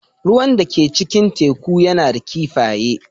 Ruwan da ke cikin teku yana da kifaye.